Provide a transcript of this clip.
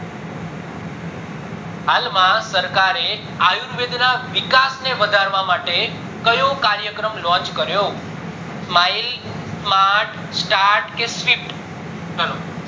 હાલ માં સરકાર એ આયુર્વેદ ના વિકાસ ને વધારવા માટે કયો કર્યા ક્રમ launch કર્યું smile smart start કે shift ચાલો